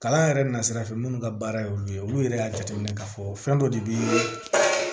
Kalan yɛrɛ na sira fɛ minnu ka baara ye olu ye olu yɛrɛ y'a jateminɛ k'a fɔ fɛn dɔ de bɛ